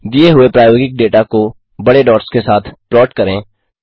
दिए हुए प्रायोगिक डेटा को बड़े डॉट्स के साथ प्लॉट करें